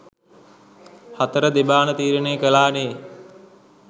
හතර දෙබාන තීරණය කලානේ